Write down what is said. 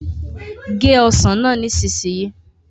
gé ọsán náà nísìsiyìí